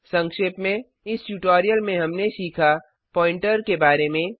संक्षेप में इस ट्यूटोरियल में हमने सीखा पॉइंटर प्वॉइंटर के बारे में